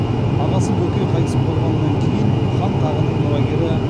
ағасы бөкей қайтыс болғаннан кейін хан тағының мұрагері